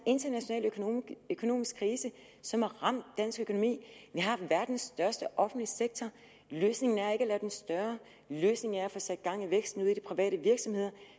international økonomisk krise som har ramt dansk økonomi vi har verdens største offentlige sektor løsningen er ikke at gøre den større løsningen er at få sat gang i væksten i de private virksomheder